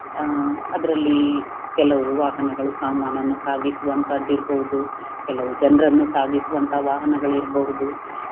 ಅಹ್ ಅದರಲ್ಲಿ ಕೆಲವು ವಾಹನಗಳು ಸಾಮಾನನ್ನ ಸಾಗಿಸುವಂತದ್ದು ಇರ್ಬಹುದು ಕೆಲವು ಜನರನ್ನು ಸಾಗಿಸುವಂತ ವಾಹನಗಳು ಇರ್ಬಹುದು